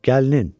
Gəlinin.